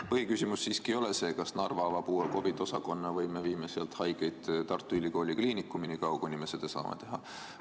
Põhiküsimus ei ole see, kas Narva avab uue COVID-i osakonna või me viime sealt haigeid Tartu Ülikooli Kliinikumi nii kaua, kuni me saame seda teha.